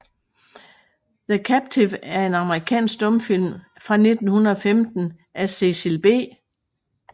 The Captive er en amerikansk stumfilm fra 1915 af Cecil B